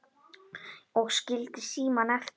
Og skildi símann eftir?